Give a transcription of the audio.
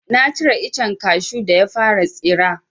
Na cire icen kashu da ya fara tsira.